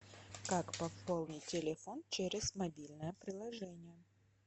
как пополнить телефон через мобильное приложение